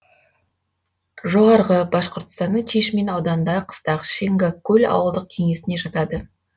жоғарғы башқұртстанның чишмин ауданындағы қыстақ шингак куль ауылдық кеңесіне жатады